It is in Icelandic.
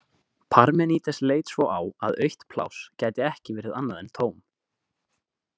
Parmenídes leit svo á að autt pláss gæti ekki verið annað en tóm.